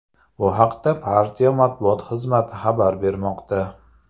Bu haqda partiya matbuot xizmati xabar bermoqda .